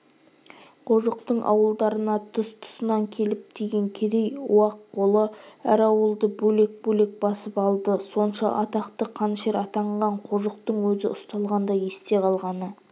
қожықтың ауылдарына тұс-тұсынан келіп тиген керей-уақ қолы әр ауылды бөлек-бөлек басып алды сонша атақты қанішер атанған қожықтың өзі ұсталғанда есте қалғаны